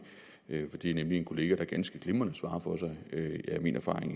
for det er nemlig en kollega der ganske glimrende for sig det er min erfaring